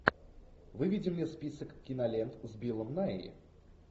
выведи мне список кинолент с биллом найи